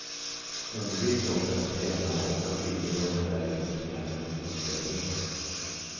Undvik dock att träna och åka skidor om det värker i knäna eller fotlederna.